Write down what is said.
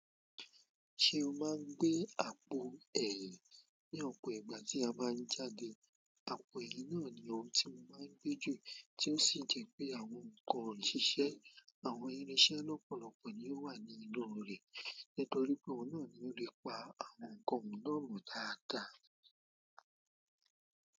Se o ma n gbe àpò eyin ni opo ìgbà ti a ba n jáde àpò ẹ̀yin náà ni òun tí mo máa ń gbé jù tí ó sì jẹ́ pé àwọn ǹkan òṣìṣẹ́, àwọn irinṣẹ́ lọ́pọ̀lọpọ̀ ni ó wà ní inú rẹ̀. Nítorí pé òun náà ni ó lè pa àwọn ǹkan mìíràn mo dáadáa.